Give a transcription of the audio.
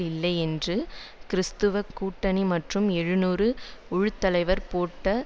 இல்லை என்று கிறிஸ்தவ கூட்டணி மற்றும் எழுநூறு குழு தலைவர் பேட் ரோபர்ட்சன்